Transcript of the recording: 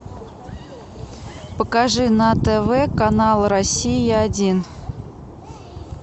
покажи на тв канал россия один